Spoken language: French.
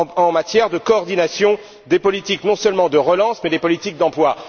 en matière de coordination des politiques non seulement de relance, mais aussi des politiques d'emploi.